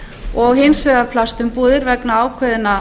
og hins vegar plastumbúðir vegna ákveðinna